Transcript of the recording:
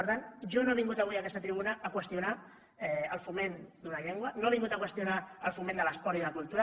per tant jo no he vingut avui a aquesta tribuna a qüestionar el foment d’una llengua no he vingut a qüestionar el foment de l’esport i la cultura